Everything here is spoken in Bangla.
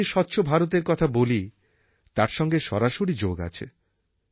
আমি যে স্বচ্ছ ভারতের কথা বলি তার সঙ্গে এর সরাসরি যোগ আছে